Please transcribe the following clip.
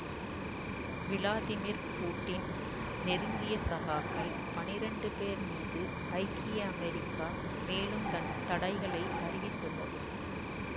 Vladimir Putin நெருங்கிய சகாக்கள் பனிரெண்டு பேர் மீது ஐக்கிய அமெரிக்கா மேலும் தன் தடைகளை அறிவித்துள்ளது